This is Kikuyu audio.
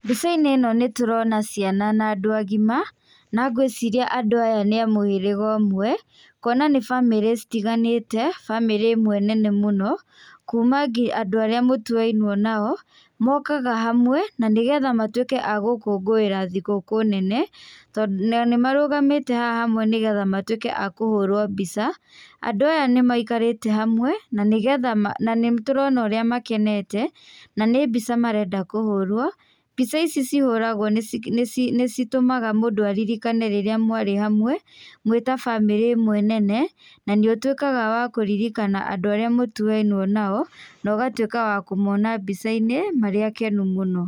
Mbica-inĩ ĩno nĩtũrona ciana na andũ agima na ngwĩciria andũ aya nĩ a mũhĩrĩga ũmwe kuona nĩ bamirĩ citiganĩte, bamĩrĩ ĩmwe nene mũno kuma ngi andũ arĩa mũtuainwo nao mokaga hamwe na nĩgetha matwĩke a gũkũngũĩra thigũkũ nene, tondũ nao nĩmarũgamĩte haha hamwe nĩgetha matwĩke a kũhũrwo mbica, andũ aya nĩmaikarĩte hamwe nanĩgetha nanĩtũrona ũrĩa makenete nanĩ mbica marenda kũhũrwo. Mbica ici cihũragwo nĩci nĩcitũmaga mũndũ aririkane rĩrĩa mwarĩ hamwe mwĩta bamĩrĩ ĩmwe nene na nĩũtwĩkaga wa kũririkana andũ arĩa mũtuainwo nao nogatwĩka wa kũmona mbica-inĩ marĩ akenu mũno.